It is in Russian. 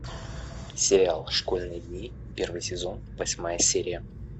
сериал школьные дни первый сезон восьмая серия